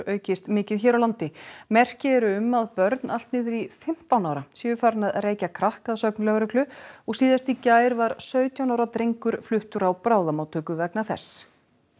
aukist mikið hér á landi merki eru um að börn allt niður í fimmtán ára séu farin að reykja krakk að sögn lögreglu og síðast í gær var sautján ára drengur fluttur á bráðamóttöku vegna þess